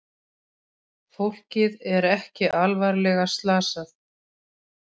Fólkið er ekki alvarlega slasað